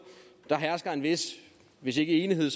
der hersker hvis hvis ikke enighed